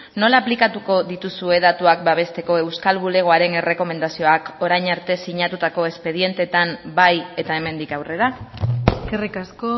nola aplikatuko dituzue datuak babesteko euskal bulegoaren errekomendazioak orain arte sinatutako espedienteetan bai eta hemendik aurrera eskerrik asko